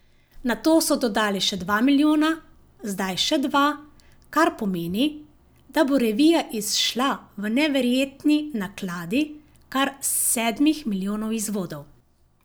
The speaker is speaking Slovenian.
Nato so dodali še dva milijona, zdaj še dva, kar pomeni, da bo revija izšla v neverjetni nakladi kar sedmih milijonov izvodov.